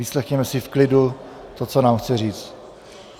Vyslechněme si v klidu to, co nám chce říci.